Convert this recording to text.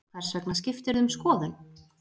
Hvers vegna skiptirðu um skoðun?